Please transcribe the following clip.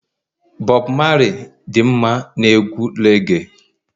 Bob Marley dị mma na egwu reage